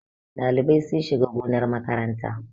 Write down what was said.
Ɗalibai sun shiga gonar makaranta